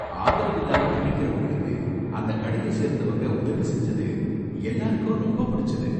ஆதரவு இல்லாம தவிக்கரவங்களுக்கு அந்த கடைய சேர்ந்தவங்க உதவி செஞ்சது எல்லாருக்கும் ரொம்ப புடிச்சுது.